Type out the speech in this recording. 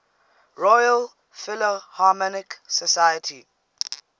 royal philharmonic society